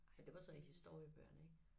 Men det var så i historiebøgerne ik